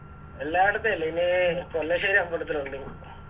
എല്ലായിടത്തെ അല്ല ഇനി പെർളശ്ശേരി അമ്പലത്തിലൊണ്ട് ഇനി